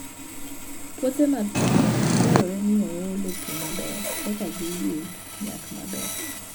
Puothe mag cham dwarore ni oole pi maber eka giyud nyak maber